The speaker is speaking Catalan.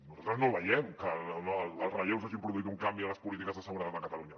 nosaltres no veiem que els relleus hagin produït un canvi en les polítiques de seguretat a catalunya